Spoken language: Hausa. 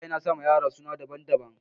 Iyaye nasama yaransu suna daban-daban